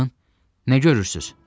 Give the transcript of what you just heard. Baxın, nə görürsünüz?